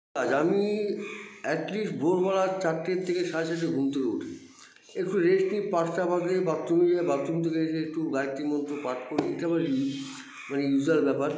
আজ আমি atleast ভোরবেলা চারটৈর থেকে সাড়ে চাড়টে ঘুম থেকে উঠি একটু rest নি পাঁচটা বাজলেই bathroom -গিয়ে bathroom থেকে এসে একটু গায়ত্রী মন্ত্র পাঠ করি এটা আমার ইউ মানে usual ব্যাপার